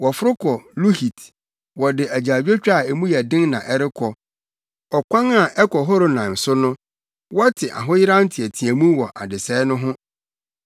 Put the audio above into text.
Wɔforo kɔ Luhit, wɔde agyaadwotwa a mu yɛ den na ɛrekɔ; ɔkwan a ɛkɔ Horonaim so no wɔte ahoyeraw nteɛteɛmu wɔ adesɛe no ho.